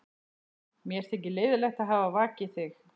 Mér þykir leiðinlegt að hafa vakið þig.